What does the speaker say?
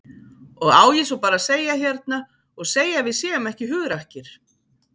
Og á ég svo bara að segja hérna og segja að við séum ekki hugrakkir?